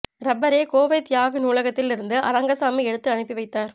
ரப்பரை கோவை தியாகு நூலகத்தில் இருந்து அரங்கசாமி எடுத்து அனுப்பிவைத்தார்